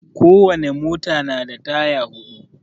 Kowane mota na da taya huɗu